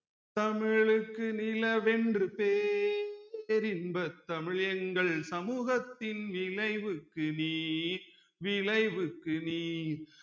தமிழுக்கு நிலவென்று பேர் இன்பத் தமிழ் எங்கள் சமூகத்தின் விளைவுக்கு நீர் விளைவுக்கு நீர்